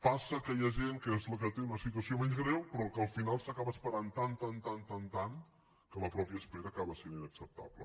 passa que hi ha gent que és la que té una situació menys greu però que al final s’acaba esperant tant tant tant que la mateixa espera acaba sent inacceptable